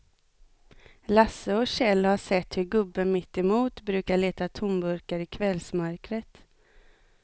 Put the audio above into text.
Lasse och Kjell har sett hur gubben mittemot brukar leta tomburkar i kvällsmörkret.